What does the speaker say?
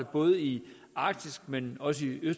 både i arktis men også i